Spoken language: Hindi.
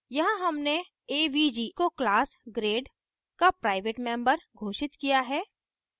यहाँ हमने avg को class grade का प्राइवेट member घोषित किया है